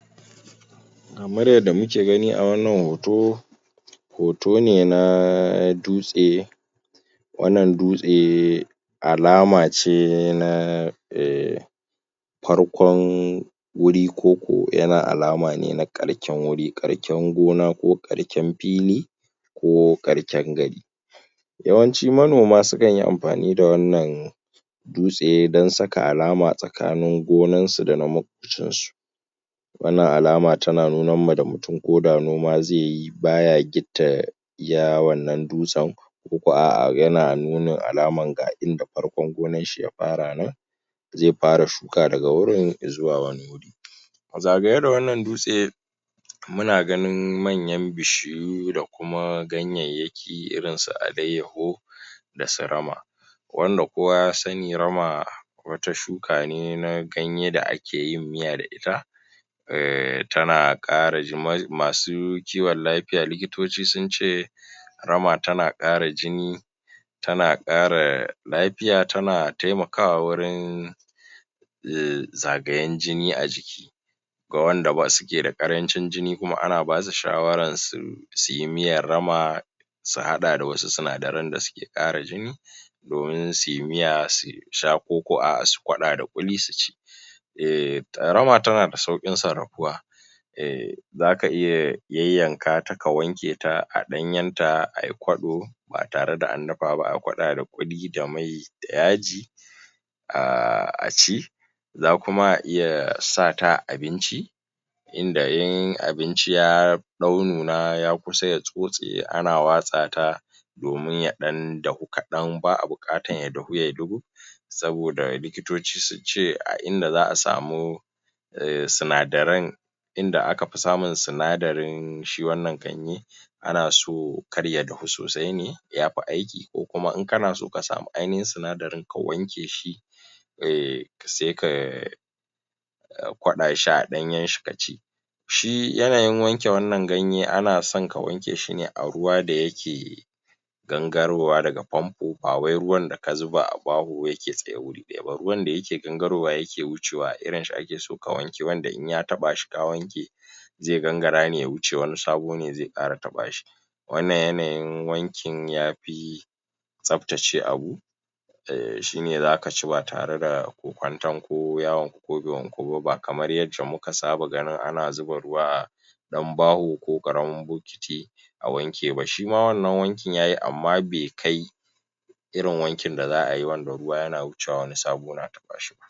Kamar yadda muke gani a wannan hoto hoto ne na dutse, wannan dutse alama ce alama ce na farkon wuri koko yana alama ne na ƙarken wuri, ƙarken gona, ko ƙarken fili, ko ƙarken gari. yawanci manoma sukan yi amfani da wannan dutse don saka alaman tsakanoin gonansu dana maƙwabtansu. Wannan alama tana nunamma da mutum mutum, ko da noma zai yi baya gitta iya wannan dutsen, koko a'a yana nuna alaman ga inda farkon gonanshi ya fara nan, zai fara shuka da wurin zuwa wani wuri. A zagaye da wannan dutse muna ganin manyan bishiyu da kuma da kuma ganyayyaki irinsu alayyaho, da su rama, wanda kowa ya sani, rama wata shuka ne na, ganye da akeyin miya da ita, ehh tana ƙara (.....?), masu kiwon laifya likitoci sun ce rama tana ƙara jini, tana ƙara lafiya, tana taimakawa wurin zagayen jini a jiki ga wanda suke da ƙarancin jini kuma, ana basu shawaran su yi miyan rama, su haɗa da wasu sinadaran da suke ƙara jini, domin su yi miya su sha, ko ko, a'a su haɗa da ƙuli su ci. Ehhn rama tana da sauƙin sarafuwa, zaka iya yayyankata ka wanke ta a ɗanyenta ayi kwalo, ba tare da an dafa ba, ayi kwaba da ƙulli da mai, da yaji, a ci za kuma a iya sata a abinci inda in abinci ya ɗau nuna, ya kusa ya tsotse, ana watsa ta domin ya dan dafu kaɗan, ba'a buƙatan ya dafu yai ɗugub, saboda likitoci sun ce a inda za a samu sinadaran, inda akafi samun sinadarin shi wannan ganye ana so kar ya dafu sosai ne yafi aiki, ko kuma in kana so, ka samu ainihin sinadarin ka wanke shi ehh saika, a kwala shi a ɗanyen shi ka ci. Shi yana yin wanke wannan ganye, ana son ka wanke shi ne a ruwa da ya ke gangarowa daga famfo, ba wai ruwan da ka zuba a baho yake tsaye wuri ɗaya ba ruwan da yake gangarowa yake wucewa irinshi ake so wanda in ya taɓa shi ka wanke zai gangara ne ya wuce wanik sabo ne zai ƙara taɓa shi. Wannan yanayin wankin ya fi tsaftace abu, shine za ka ci ba tare da kwanton ko ya wanku, ko bai wanku ba, ba kamar yadda muka saba ganin ana zuba ruwa a ɗan baho ko ƙaramin bokiti, a wanke ba. Shi ma wannan wankin, ya yi, amma bai kai irin wankin da za ai, ruwa yana wucewa wani sabo na taɓa shi ba.